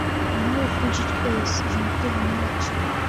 можешь включить эйс вентура младший